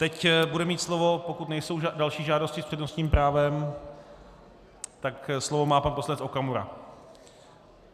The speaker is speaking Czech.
Teď bude mít slovo, pokud nejsou další žádosti s přednostním právem, tak slovo má pan poslanec Okamura.